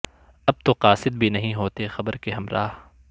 اب تو قاصد بھی نہیں ہوتے خبر کے ہمراہ